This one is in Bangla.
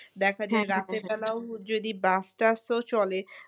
দেখা যায় রাতের বেলাও যদি bus টাসও চলে